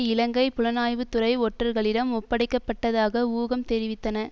இலங்கை புலணாய்வுத்துறை ஒற்றர்களிடம் ஒப்படைக்கப்பட்டதாக ஊகம் தெரிவித்தன